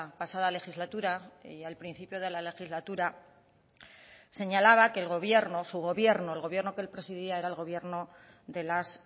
pasada legislatura y al principio de la legislatura señalaba que el gobierno su gobierno el gobierno que él presidía era el gobierno de las